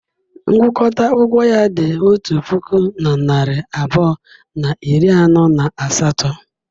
Ngụkọta ụgwọ ya dị otu puku na narị abụọ na iri anọ na asatọ.